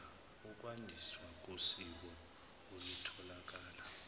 ukwandiswa kosizo olutholakala